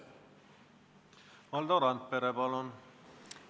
Valdo Randpere, palun!